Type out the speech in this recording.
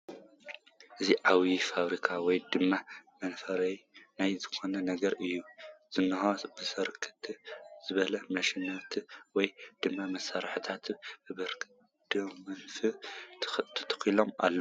እዚ ዓብይ ፋብሪካ ወይ ድማ መፍረይ ናይ ዝኾነ ነገር እዩ ዝንሄ ፡ ብርክት ዝበሉ ማሽናት ወይ ድማ መሳሪሒታት በቢረድፎም ተተኾሎም ኣለዉ ፡